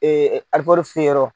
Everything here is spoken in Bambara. ti se yɔrɔ